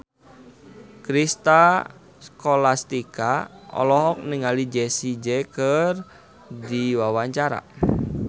Citra Scholastika olohok ningali Jessie J keur diwawancara